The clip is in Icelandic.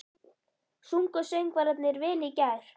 Sungu söngvararnir vel í gær?